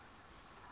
south west africa